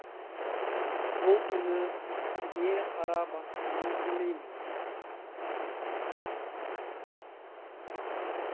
бұл түні не қара басқанын білмеймін